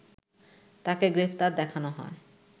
তাকে গ্রেপ্তার দেখানো হয়